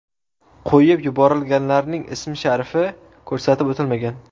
Qo‘yib yuborilganlarning ismi-sharifi ko‘rsatib o‘tilmagan.